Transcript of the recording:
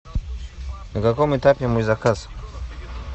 на каком этапе мой заказ